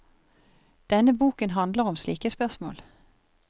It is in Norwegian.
Denne boken handler om slike spørsmål.